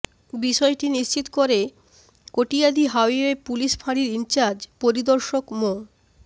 বিষয়টি নিশ্চিত করে কটিয়াদী হাইওয়ে পুলিশ ফাঁড়ির ইনচার্জ পরিদর্শক মো